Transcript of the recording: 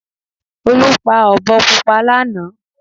Olú pa ọ̀bọ púpọ̀ lánàá